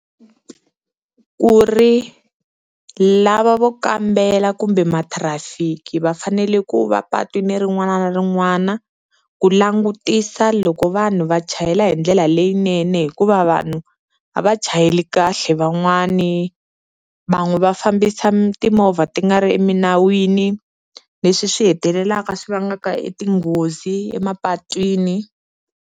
Ku ri lava vo kambela kumbe matrafiki va fanele ku va patwini rin'wana na rin'wana ku langutisa loko vanhu va chayela hi ndlela leyinene hikuva vanhu a va chayeli kahle van'wani, va n'wi va fambisa timovha ti nga ri eminawini leswi swi hetelelaka swi vangaka e tinghozi emapatwini.